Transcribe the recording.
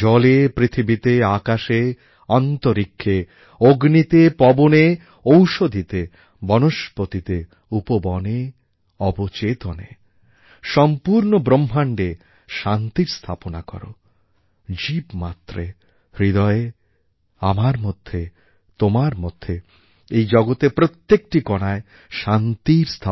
জলে পৃথিবীতে আকাশে অন্তরীক্ষে অগ্নিতে পবনে ঔষধিতে বনস্পতিতে উপবনে অবচেতনে সম্পূর্ণ ব্রহ্মাণ্ডে শান্তির স্থাপনা কর জীবমাত্রে হৃদয়ে আমার মধ্যে তোমার মধ্যে এই জগতের প্রত্যেকটি কণায় শান্তির স্থাপনা কর